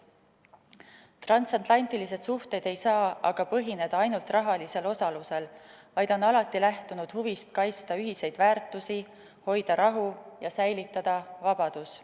Transatlantilised suhted ei saa aga põhineda ainult rahalisel osalusel, vaid on alati lähtunud huvist kaitsta ühiseid väärtusi, hoida rahu ja säilitada vabadus.